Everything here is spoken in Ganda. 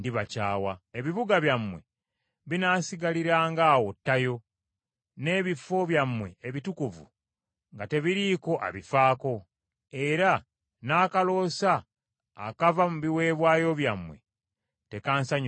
Ebibuga byammwe binaasigaliranga awo tayo, n’ebifo byammwe ebitukuvu nga tebiriiko abifaako, era n’akaloosa akava mu biweebwayo byammwe tekansanyusenga.